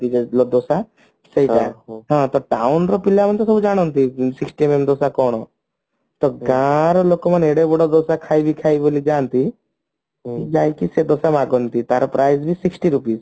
ଦୋସା ସେଟା ହଁ town ପିଲାମାନେ ତ ସଉ ଜାଣନ୍ତି sixty MM ର ଦୋସା କଣ ତ ଗାଁ ର ଲୋକମାନେ ଏଡେ ବଡ ଦୋସା ଖାଇବି ଖାଇବି ବୋଲି ଯାଆନ୍ତି ଯାଇକି ସେ ଦୋସା ମାଗନ୍ତ୍ତି ତାର price ବି sixty rupees